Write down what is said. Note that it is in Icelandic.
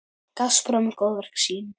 Gaspra um góðverk sín.